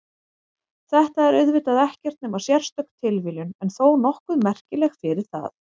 Þetta er auðvitað ekkert nema sérstök tilviljun en þó nokkuð merkileg fyrir það.